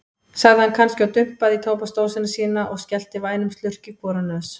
sagði hann kannski og dumpaði í tóbaksdósina sína og skellti vænum slurk í hvora nös.